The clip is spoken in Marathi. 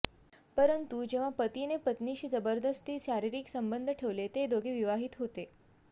परंतु जेव्हा पतीने पत्नीशी जबरदस्ती शारीरीक सबंध ठेवले ते दोघे विवाहित होते